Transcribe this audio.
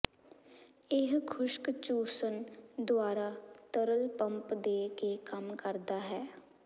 ਇਹ ਖੁਸ਼ਕ ਚੂਸਣ ਦੁਆਰਾ ਤਰਲ ਪੰਪ ਦੇ ਕੇ ਕੰਮ ਕਰਦਾ ਹੈ